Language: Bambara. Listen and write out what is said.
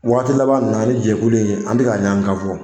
Waati laban nin na ani jɛkulu in an bɛ ka ɲɔn kan fɔ